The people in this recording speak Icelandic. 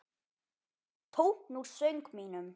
Tónn úr söng mínum.